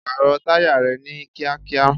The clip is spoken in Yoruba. Pààrọ̀ táyà rẹ ni kíákíá!